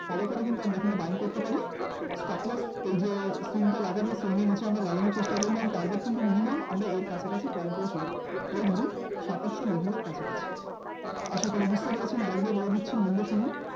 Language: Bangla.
Follow করে কিন্তু আমরা এখানে Buying করতে পারি, stop loss এই যে swing টা লাগাবে swing এর নিচে আমরা লাগানোর চেষ্টা করলাম, target কিন্তু minimum আমরা এর কাছাকাছি plan করে চলবো এই ধরুন সাতাশ level এর কাছাকাছি। আশা করি বুঝতে পেরেছেন আর একবার বলে দিচ্ছি মন দিয়ে শুনুন